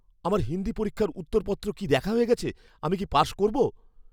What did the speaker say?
আমার হিন্দি পরীক্ষার উত্তরপত্র কি দেখা হয়ে গেছে? আমি কি পাশ করব?